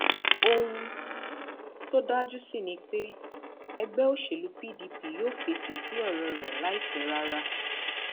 ohun tó dájú sí ni pé ẹgbẹ òṣèlú pdp yóò fèsì sí ọrọ rẹ láìpẹ rárá